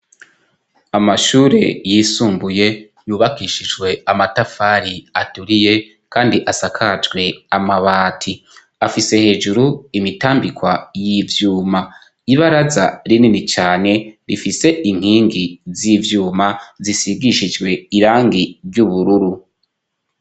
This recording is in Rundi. amashure yisumbuye yubakishijwe amatafari aturiye kandi asakajwe amabati afise hejuru imitambikwa y'ivyuma ibaraza rinini cane rifise inkingi z'ivyuma zisigishijwe irangi ry'ubururu